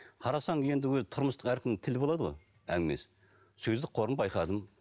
қарасаң енді өзі тұрмыстық әркім тілі болады ғой әңгімесі сөздік қорын байқадым